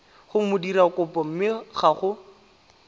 go modirakopo mme ga go